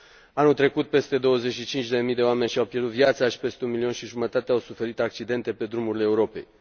Anul trecut, peste 25 de mii de oameni și au pierdut viața și peste un milion și jumătate au suferit accidente pe drumurile Europei.